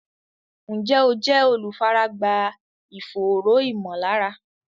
Ǹjẹ́ o jẹ́ olùfaragbá ìfòòró ìmọ̀lára?